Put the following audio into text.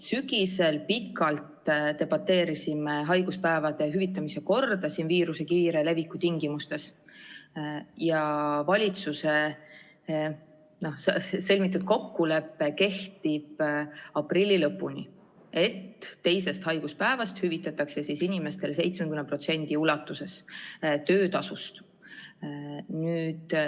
Sügisel debateerisime pikalt haiguspäevade hüvitamise korra üle viiruse kiire leviku tingimustes ja valitsuse sõlmitud kokkulepe kehtib aprilli lõpuni: alates teisest haiguspäevast hüvitatakse inimestele 70% nende töötasust.